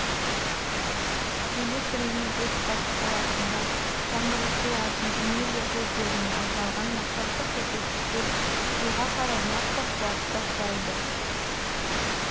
электр энергетикасы саласында жаңғыртылатын энергия көздеріне арналған мақсаттық көрсеткіштер жылға қарай нақты қуатты құрайды